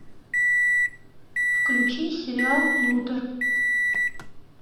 включи сериал лютер